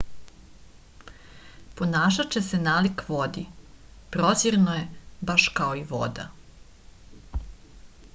ponašaće se nalik vodi prozirno je baš kao i voda